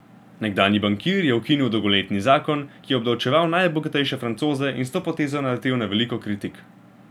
Nekdanji bankir je ukinil dolgoletni zakon, ki je obdavčeval najbogatejše Francoze, in s to potezo naletel na veliko kritik.